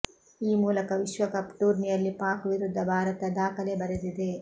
ಈ ಮೂಲಕ ವಿಶ್ವಕಪ್ ಟೂರ್ನಿಯಲ್ಲಿ ಪಾಕ್ ವಿರುದ್ಧ ಭಾರತ ದಾಖಲೆ ಬರೆದಿದೆ